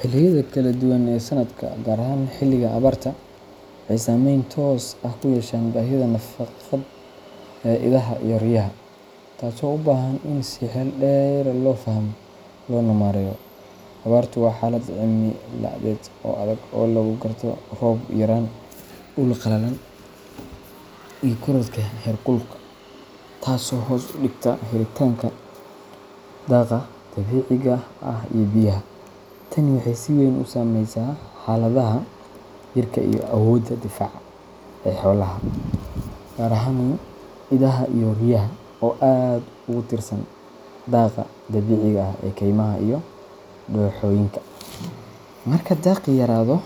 Xilliyada kala duwan ee sanadka, gaar ahaan xilliga abaarta, waxay saameyn toos ah ku yeeshaan baahida nafaqeed ee idaha iyo riyaha, taasoo u baahan in si xeel dheer loo fahmo loona maareeyo. Abaartu waa xaalad cimiladeed oo adag oo lagu garto roob yaraan, dhul qallalan, iyo korodhka heerkulka, taasoo hoos u dhigta helitaanka daaqa dabiiciga ah iyo biyaha. Tani waxay si weyn u saameysaa xaaladda jirka iyo awoodda difaaca ee xoolaha, gaar ahaan idaha iyo riyaha oo aad ugu tiirsan daaqa dabiiciga ah ee kaymaha iyo dooxooyinka. Marka daaqii yaraado